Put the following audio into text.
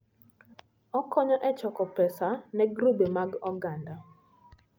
Okonyo e choko pesa ne grube mag oganda.